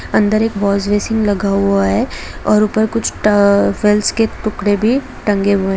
अंदर एक वॉशबेसिन लगा हुआ है और ऊपर कुछ ट-अ टोवेल्स के टुकड़े भी टंगे हुए हैं।